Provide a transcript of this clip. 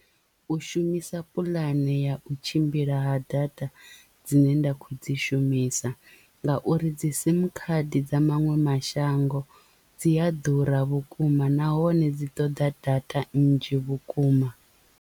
U shumisa puḽane ya u tshimbila ha data dzine nda kho dzi shumisa ngauri dzi sim khadi dza maṅwe mashango dzi a ḓura vhukuma nahone dzi ṱoḓa data nnzhi vhukuma.